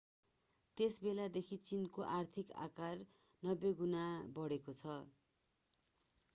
त्यसबेलादेखि चीनको आर्थिक आकार 90 गुणा बढेको छ